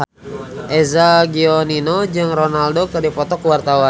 Eza Gionino jeung Ronaldo keur dipoto ku wartawan